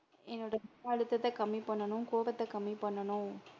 என்னோட மன அழுத்தத கம்மி பண்ணனும் கோவத்த கம்மி பண்ணனும்.